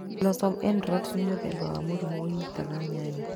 Blossom-end Rot nĩ mũthemba wa mũrimũ ũnyitaga nyanya.